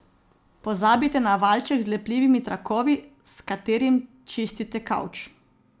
Pozabite na valjček z lepljivimi trakovi, s katerim čistite kavč.